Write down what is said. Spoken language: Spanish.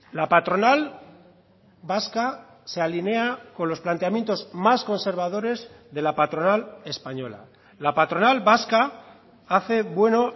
la patronal vasca se alinea con los planteamientos más conservadores de la patronal española la patronal vasca hace bueno